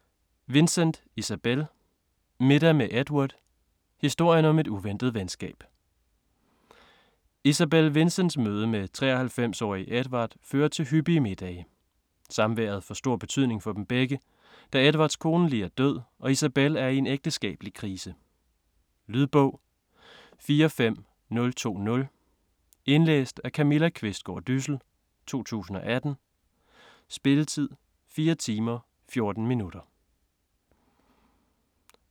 Vincent, Isabel: Middag med Edward: historien om et uventet venskab Isabel Vincents møde med 93-årige Edward fører til hyppige middage. Samværet får stor betydning for dem begge, da Edwards kone lige er død og Isabel er i en ægteskabelig krise. Lydbog 45020 Indlæst af Camilla Qvistgaard Dyssel, 2018. Spilletid: 4 timer, 14 minutter.